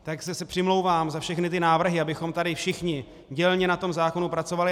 Takže se přimlouvám za všechny ty návrhy, abychom tady všichni dělně na tom zákonu pracovali.